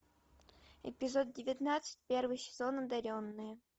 эпизод девятнадцать первый сезон одаренные